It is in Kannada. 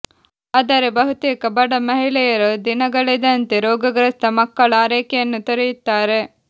ಆದರೆ ಬಹುತೇಕ ಬಡ ಮಹಿಳೆಯರು ದಿನಗಳೆದಂತೆ ರೋಗಗ್ರಸ್ತ ಮಕ್ಕಳ ಆರೈಕೆಯನ್ನು ತೊರೆಯುತ್ತಾರೆ